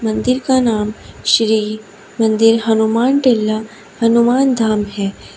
मंदिर का नाम श्री मंदिर हनुमान टीला हनुमान धाम है।